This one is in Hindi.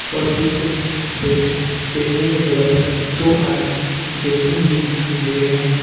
और पीछे बैठ बैठने के जगह पर दो आदमी बैठे हुए दिखाई दे रहे हैं।